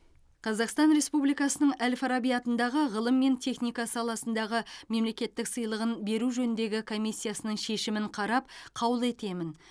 қазақстан республикасының әл фараби атындағы ғылым мен техника саласындағы мемлекеттік сыйлығын беру жөніндегі комиссияның шешімін қарап қаулы етемін